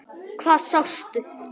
Hvað sástu?